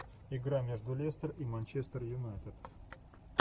игра между лестер и манчестер юнайтед